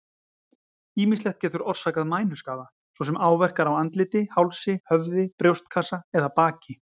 Ýmislegt getur orsakað mænuskaða, svo sem áverkar á andliti, hálsi, höfði, brjóstkassa eða baki.